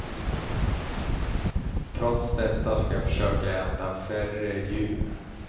Trots detta ska jag försöka äta färre djur.